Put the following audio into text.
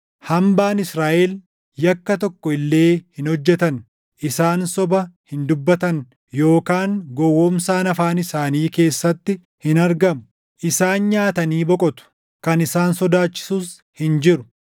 Hambaan Israaʼel yakka tokko illee hin hojjetan. Isaan soba hin dubbatan yookaan gowwoomsaan afaan isaanii keessatti hin argamu. Isaan nyaatanii boqotu; kan isaan sodaachisus hin jiru.”